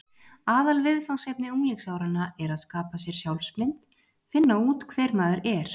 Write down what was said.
Aðalviðfangsefni unglingsáranna er að skapa sér sjálfsmynd: finna út hver maður er.